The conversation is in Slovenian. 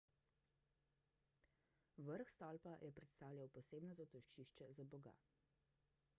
vrh stolpa je predstavljal posebno zatočišče za boga